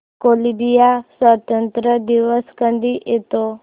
Colombia स्वातंत्र्य दिवस कधी येतो